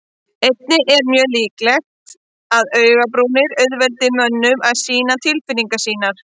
Einnig er mjög líklegt að augabrúnir auðveldi mönnum að sýna tilfinningar sínar.